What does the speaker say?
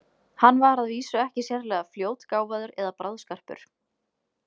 Hann var að vísu ekki sérlega fljótgáfaður eða bráðskarpur.